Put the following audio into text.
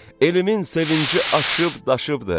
Elimin sevinci aşıb daşıbdır.